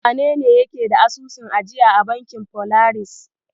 Wanene yake da asusun ajiya a bankin Folaris?